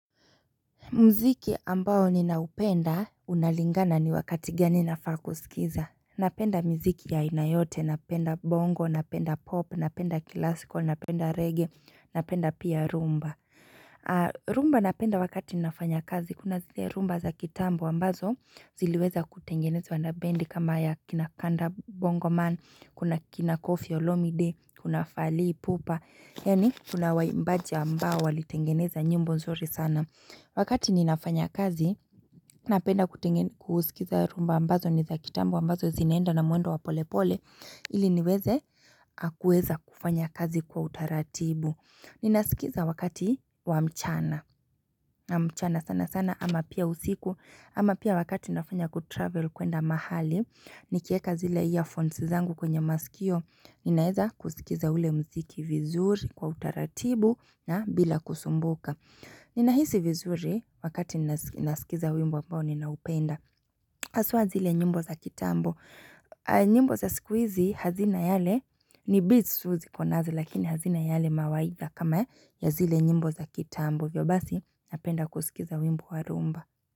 Mziki ambao ninaupenda unalingana ni wakati gani nafaa kuskiza. Napenda miziki ya aina yote, napenda bongo, napenda pop, napenda classical, napenda reggae, napenda pia rumba rumba napenda wakati nafanya kazi, kuna zile rumba za kitambo ambazo ziliweza kutengenezwa na bendi kama ya kina kanda bongo man, Kuna kina kofi olomide, kuna fally Ipupa, yaani, kuna waimbaji ambao walitengeneza nyimbo nzuri sana Wakati ninafanya kazi, napenda kuskiza rhumba ambazo niza kitambo ambazo zinaenda na mwendo wa polepole, ili niweze aah kuweza kufanya kazi kwa utaratibu. Ninasikiza wakati wa mchana, na mchana sana sana ama pia usiku, ama pia wakati nafanya kutravel kwenda mahali, nikieka zile earphones zangu kwenye maskio, ninaeza kusikiza ule mziki vizuri kwa utaratibu na bila kusumbuka. Ninahisi vizuri wakati nasikiza wimbo ambao ninaupenda, Haswa zile nyimbo za kitambo nyimbo za siku izi hazina yale ni beats tu zikonazo lakini hazina yale mawaidha kama ya zile nyimbo za kitambo. Hivyo basi, napenda kuskiza wimbo wa rhumba.